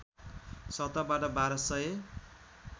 सतहबाट १२ सय